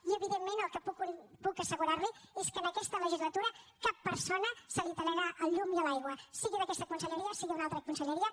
i evidentment el que puc assegurar li és que en aquesta legislatura a cap persona se li tallarà la llum i l’aigua sigui aquesta conselleria sigui una altra conselleria